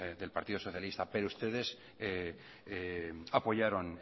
del partido socialista pero ustedes apoyaron